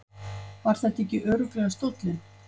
Var þetta ekki örugglega stóllinn?